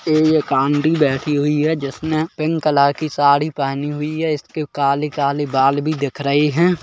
ये एक आंटी बैठी हुई है जिसने पिंक कलर की साड़ी पहनी हुई है इसके काले-काले बाल भी दिख रहे है।